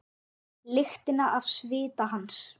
Lyktina af svita hans.